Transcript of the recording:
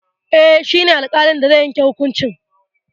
Eh, shi ne alƙalin da zai yanke hukuncin.